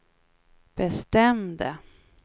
bestämde